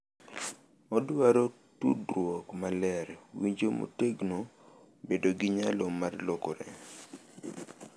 Odwaro tudruok maler, winjo motegno, bedo gi nyalo mar lokore,